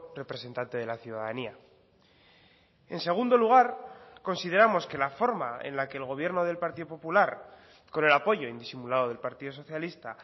representante de la ciudadanía en segundo lugar consideramos que la forma en la que el gobierno del partido popular con el apoyo indisimulado del partido socialista